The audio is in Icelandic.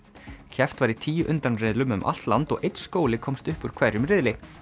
keppt var í tíu undanriðlum um allt land og einn skóli komst upp úr hverjum riðli